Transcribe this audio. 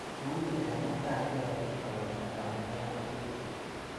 Une chametapke eng itonda akobo arorutik?